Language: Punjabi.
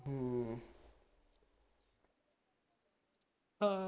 ਹਾਂ